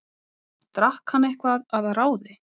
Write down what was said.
Drakk hann eitthvað að ráði?